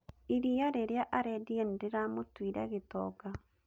Iria rĩrĩa arendirie nĩ rĩramũtuire gĩtonga